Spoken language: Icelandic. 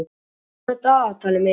Jonni, opnaðu dagatalið mitt.